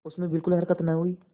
उसमें बिलकुल हरकत न हुई